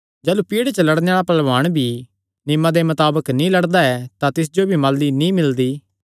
जाह़लू पिड़े च लड़णे आल़ा पैहलवाण भी जे नियमां मताबक नीं लड़दा ऐ तां तिस जो माली नीं मिलदी